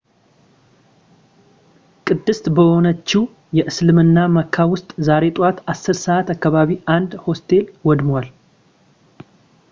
ቅድስት በሆነችው የእስልምና መካ ውስጥ ዛሬ ጠዋት 10 ሰዓት አካባቢ አንድ ሆስቴል ወድሟል